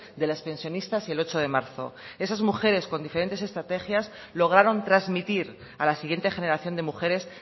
de las pensionistas y el ocho de marzo esas mujeres con diferentes estrategias lograron transmitir a la siguiente generación de mujeres